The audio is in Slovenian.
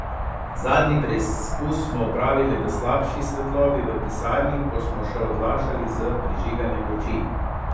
Zadnji preizkus smo opravili v slabši svetlobi v pisarni, ko smo še odlašali s prižiganjem luči.